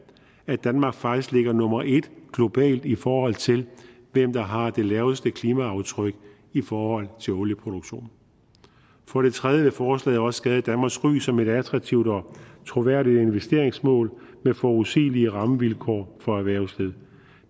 at danmark faktisk ligger nummer et globalt i forhold til hvem der har det laveste klimaaftryk i forhold til olieproduktion for det tredje vil forslaget også skade danmarks ry som et attraktivt og troværdigt investeringsmål med forudsigelige rammevilkår for erhvervslivet